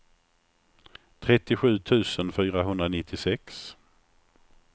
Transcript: trettiosju tusen fyrahundranittiosex